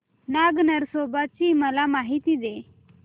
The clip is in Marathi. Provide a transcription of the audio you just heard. नाग नरसोबा ची मला माहिती दे